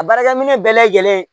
A baarakɛminɛn bɛɛ lajɛlen